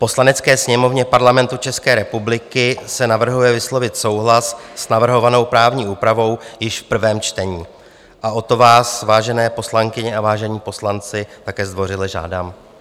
Poslanecké sněmovně Parlamentu České republiky se navrhuje vyslovit souhlas s navrhovanou právní úpravou již v prvém čtení a o to vás, vážené poslankyně a vážení poslanci, také zdvořile žádám.